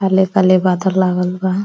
काले काले बादल लागल बा --